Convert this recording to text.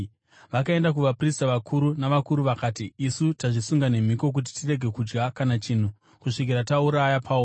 Vakaenda kuvaprista vakuru navakuru vakati, “Isu tazvisunga nemhiko kuti tirege kudya kana chinhu kusvikira tauraya Pauro.